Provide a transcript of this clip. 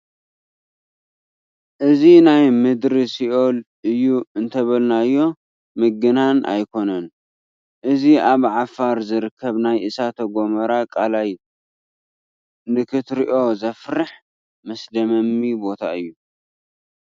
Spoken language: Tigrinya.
እዚ ናይ ምድሪ ሲኦል እዩ እንተበልናዮ ምግናን ኣይኮነን፡፡ እዚ ኣብ ዓፋር ዝርከብ ናይ እሳተ ጐመራ ቀላይ ንክትሪኦ ዘፍርሕ መስደመሚ ቦታ እዩ፡፡